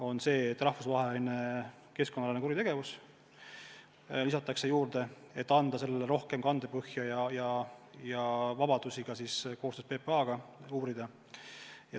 Sinna lisatakse rahvusvaheline keskkonnaalane kuritegevus, et anda sellevastasele tööle rohkem kandepõhja ja vabadusi koostöös PPA-ga seda uurida.